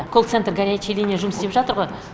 колл центр горячяя линия жұмыс істеп жатыр ғой